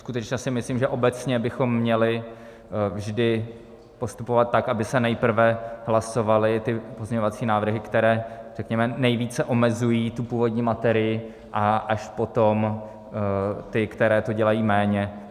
Skutečně si myslím, že obecně bychom měli vždy postupovat tak, aby se nejprve hlasovaly ty pozměňovací návrhy, které, řekněme, nejvíce omezují tu původní matérii, a až potom ty, které to dělají méně.